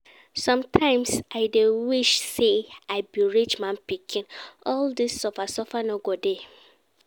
Sometimes I dey wish say I be rich man pikin, all dis suffer suffer no go dey